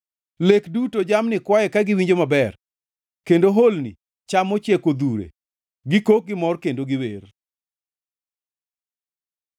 Lek duto jamni kwaye ka giwinjo maber kendo holni cham mochiek odhure; gikok gimor kendo giwer.